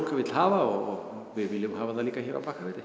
vill hafa og við viljum hafa það líka hér á Bakkafirði